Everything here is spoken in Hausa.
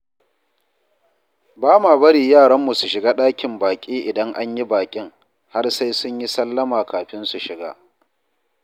Ba ma bari yaranmu su shiga ɗakin baƙi idan an yi baƙin, har sai sun yi sallama kafin su shiga.